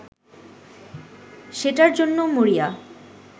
সেটার জন্য মরিয়া